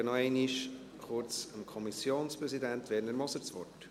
Und ich gebe noch einmal kurz dem Kommissionspräsidenten Werner Moser das Wort.